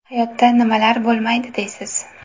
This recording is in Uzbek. Hayotda nimalar bo‘lmaydi, deysiz.